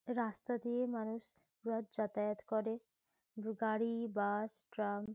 রাস্তা দিয়ে মানুষ রোজ যাতায়াত করে। গাড়ি বাস ট্রাম ।